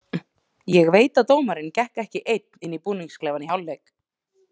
Ég veit að dómarinn gekk ekki einn inn í búningsklefann í hálfleik.